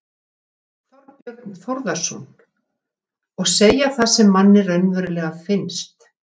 Þorbjörn Þórðarson: Og segja það sem manni raunverulega finnst?